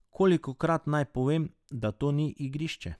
Kolikokrat naj povem, da to ni igrišče!